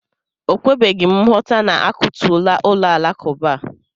O kwebeghịm nghọta na-akụtuola ụlọ alakụba a.